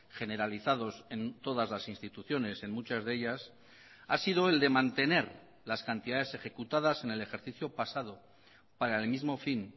generalizados en todas las instituciones en muchas de ellas ha sido el de mantener las cantidades ejecutadas en el ejercicio pasado para el mismo fin